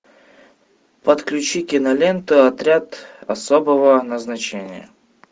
подключи кинолента отряд особого назначения